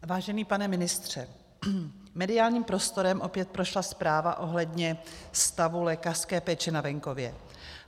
Vážený pane ministře, mediálním prostorem opět prošla zpráva ohledně stavu lékařské péče na venkově.